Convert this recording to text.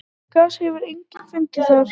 Gas hefur einnig fundist þar.